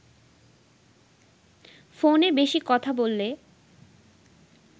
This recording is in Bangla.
ফোনে বেশি কথা বললে